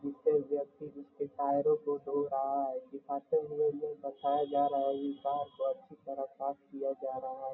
कोई व्यक्ति जिसके टायरों को धो रहा है बताया जा रहा की कर को अच्छी से साफ किया जा रहा है।